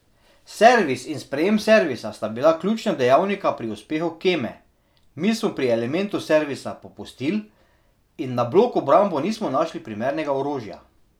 Servis in sprejem servisa sta bila ključna dejavnika pri uspehu Keme, mi smo pri elementu servisa popustil in na blok obrambo nismo našli primernega orožja.